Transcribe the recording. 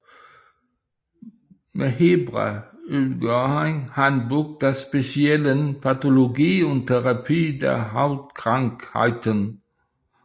Med Hebra udgav han Handbuch der speciellen Pathologie und Therapie der Hautkrankheiten